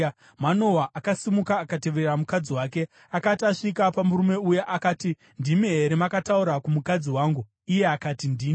Manoa akasimuka akatevera mukadzi wake. Akati asvika pamurume uya, akati, “Ndimi here makataura kumukadzi wangu?” Iye akati, “Ndini.”